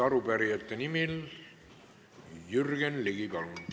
Arupärijate nimel Jürgen Ligi, palun!